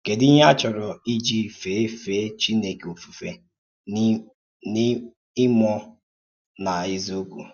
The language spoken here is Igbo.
Kèdù íhè à chòrò íjì fèé fèé Chínèkè ofùfé “n’ìmúọ̀ nà n’èzíòkwú?